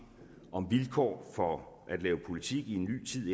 om vilkår for at lave politik i en ny tid